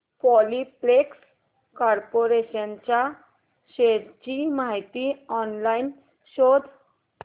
Polyplex Corporation च्या shares ची माहिती ऑनलाइन शोध